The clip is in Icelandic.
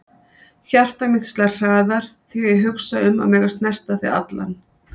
Hjarta mitt slær hraðar þegar ég hugsa um að mega snerta þig allan.